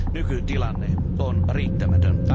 Nykytilanne on riittämätön.